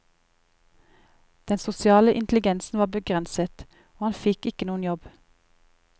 Den sosiale intelligensen var begrenset, og han fikk ikke noen jobb.